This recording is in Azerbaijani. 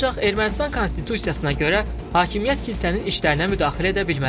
Ancaq Ermənistan konstitusiyasına görə hakimiyyət kilsənin işlərinə müdaxilə edə bilməz.